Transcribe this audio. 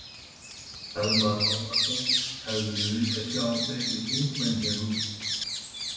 Telma Tómasson: Hefðirðu viljað sjá fleiri þingmenn hér úti?